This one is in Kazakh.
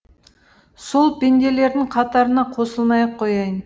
сол пенделердің қатарына қосылмай ақ қояйын